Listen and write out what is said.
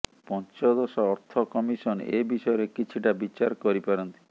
ପଞ୍ଚଦଶ ଅର୍ଥ କମିସନ ଏ ବିଷୟରେ କିଛିଟା ବିଚାର କରିପାରନ୍ତି